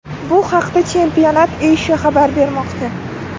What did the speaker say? Bu haqda Championat Asia xabar bermoqda .